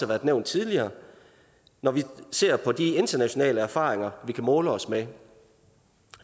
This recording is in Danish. været nævnt tidligere når vi ser på de internationale erfaringer vi kan måle os med